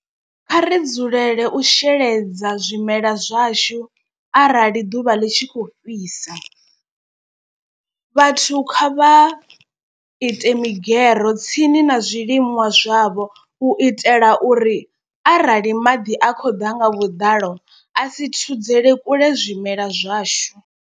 Kha ri dzulele u sheledza zwimela zwashu arali ḓuvha ḽi tshi kho fhisa. Vhathu kha vha ite migero tsini na zwiliṅwa zwavho u itela uri arali maḓi a khou ḓa nga vhuḓalo a si thudzele kule zwimela zwashu.